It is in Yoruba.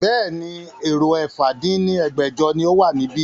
Bẹ́ẹ̀ni, èrò ẹ̀fà dín ní ẹgbẹ́jọ ni ó wà níbí